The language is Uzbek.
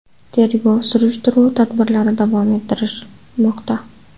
Tergov-surishtiruv tadbirlari davom ettirilmoqda.